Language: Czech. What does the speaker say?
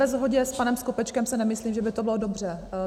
Ve shodě s panem Skopečkem si nemyslím, že by to bylo dobře.